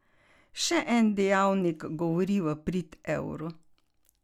Še en dejavnik govori v prid evru.